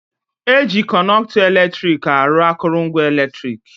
Eji Kọnọktọ eletrik arụ akụrụngwa eletrik